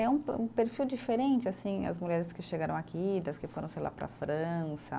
É um pe, um perfil diferente assim as mulheres que chegaram aqui, das que foram sei lá, para a França.